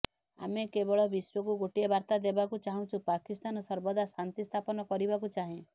ଆମେ କେବଳ ବିଶ୍ୱକୁ ଗୋଟିଏ ବାର୍ତ୍ତା ଦେବାକୁ ଚାହୁଁଛୁ ପାକିସ୍ତାନ ସର୍ବଦା ଶାନ୍ତି ସ୍ଥାପନ କରିବାକୁ ଚାହେଁ